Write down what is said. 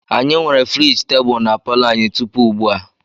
Anyị nwere friji tebụl na palo anyị tupu ugbu a.